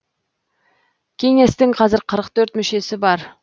кеңестің қазір қырық төрт мүшесі бар